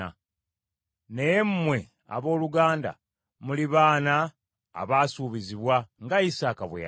Naye mmwe abooluganda muli baana abaasuubizibwa, nga Isaaka bwe yali.